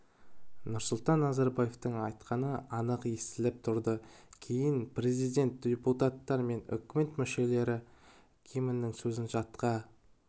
нұрсұлтан назарбаевтың айтқаны анық естіліп тұрды кейін президент депутаттар мен үкімет мүшелері гимннің сөзін жатқа